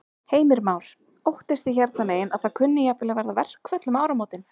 Heimir Már: Óttist þið hérna megin að það kunni jafnvel að verða verkföll um áramótin?